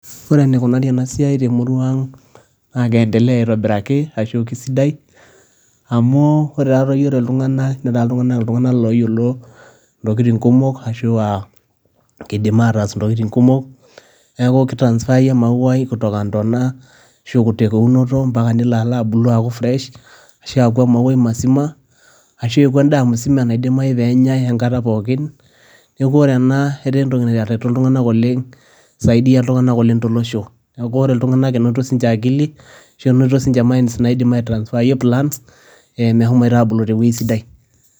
Ore eneikunari ena siai temurua aang', naa keendelea aitobiraki arashu kesidai amu ore taatoi ore iltunganak neetai iltunganak ooyiolo isiatin kumok, kiidim aatas intotin kumok kitaranspaa emauai kwanzia intona, arashu aiteru eunoto ampaka nelo abulu aaku fresh arashu aaku emauai masima arashu eeku endaa msima naidimayu pee enyai enkata pookin. Neeku ore ena etaa entoki natareto iltunganak oleng', isaidia iltunganak oleng' tolosho. Neeku ore iltunganak enoto sininje akili arashu enenoto sininje minds naidimi aa transfer plants meshomoita a abulu tewoji sidai.